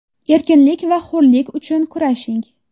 Erkinlik va hurlik uchun kurashing!